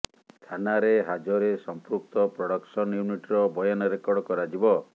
ଥାନାରେ ହାଜରେ ସଂପୃକ୍ତ ପ୍ରଡକ୍ସନ ୟୁନିଟର ବୟାନ ରେକର୍ଡ କରାଯିବ